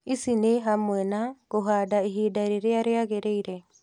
Ici nĩ hamwe na, kũhanda ihinda rĩrĩa rĩagĩrĩire